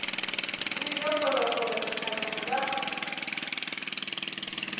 o ile kgolekgole dithabeng tša